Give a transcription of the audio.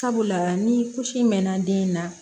Sabula ni mɛnna den na